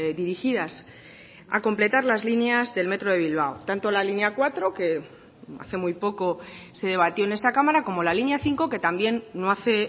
dirigidas a completar las líneas del metro de bilbao tanto la línea cuatro que hace muy poco se debatió en esta cámara como la línea cinco que también no hace